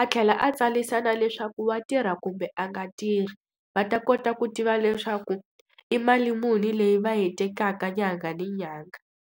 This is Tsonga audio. a tlhela a tsarisa na leswaku wa tirha kumbe a nga tirhi, va ta kota ku tiva leswaku i mali muni leyi va yi tekaka nyanga ni nyanga.